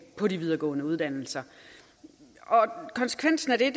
på de videregående uddannelser og konsekvensen af det